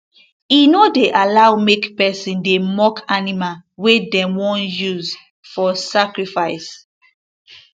e no dey allow make person dey mock animal wey dem want use for sacrifice